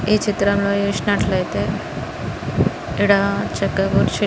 ఈ చిత్రంలో చూసినట్లయితే ఈడ చెక్క కుర్చీలు.